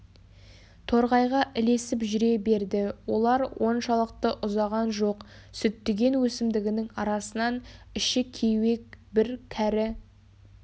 торғайға ілесіп жүре берді олар оншалықты ұзаған жоқ сүттіген өсімдігінің арасынан іші кеуек бір кәрі